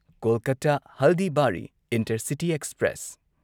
Kolkata Haldibari intercity express